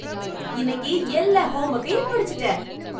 இன்னைக்கு எல்லா ஹோம்ஒர்கையும் முடிச்சிட்டேன்!